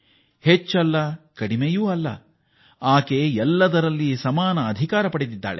ಆಕೆ ಸಮಾನತೆಗೆ ಹಕ್ಕುಳ್ಳವಳಾಗಿದ್ದಾಳೆ ಅದು ಹೆಚ್ಚೂ ಅಲ್ಲ ಕಡಿಮೆಯೂ ಅಲ್ಲ